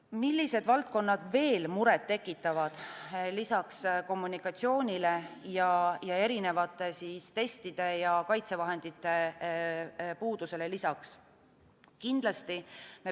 Millised valdkonnad lisaks kommunikatsioonile ja erinevate testide ning kaitsevahendite puudusele veel muret tekitavad?